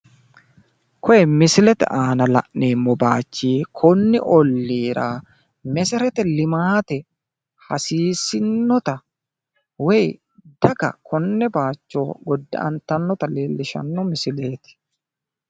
Koye misilete aana la'neemmo baayichi konni olliira meseretelimaate hasiissinnota woyi daga konne bayicho godda'anttanotta leellishshanno misileeti.